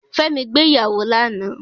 Fẹ́mi gbé ìyàwó ní àná